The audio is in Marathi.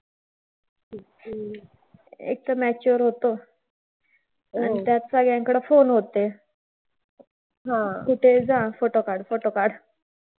हम्म एकतर matured होतो. आणि त्यात सगळ्यांकडे phone होते. कुठेही जा आणि photo काढ, photo काढ.